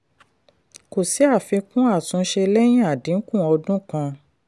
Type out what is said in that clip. kò sí àfikún àtúnṣe lẹ́yìn àdínkù ọdún kan.